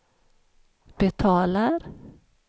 betalar